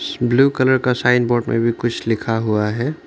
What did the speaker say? Blue colour का sign board में भी कुछ लिखा हुआ है।